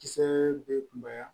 Kisɛ be kunbaya